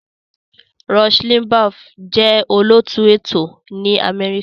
Rush Limbaugh jẹ́ olóòtú ètò ní Amẹ́ríkà.